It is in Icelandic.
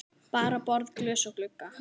Bara borð, glös og glugga.